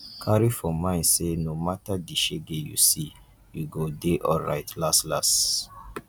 carry for mind say no matter di shege you see you go de alright las las